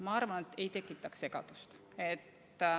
Ma arvan, ei tekitaks segadust.